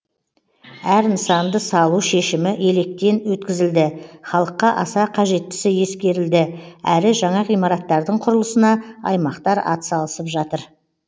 әр нысанды салу шешімі електен өткізілді халыққа аса қажеттісі ескерілді әрі жаңа ғимараттардың құрылысына аймақтар атсалысып жатыр